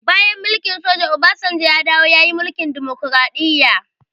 Bayan mulkin soja, obasanjo ya dawo ya yi mulkin demokraɗiya